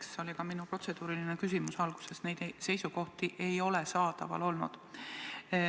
Sellest tulenes ka minu protseduuriline küsimus, mille ma alguses esitasin, et neid seisukohti ei ole saadaval olnud.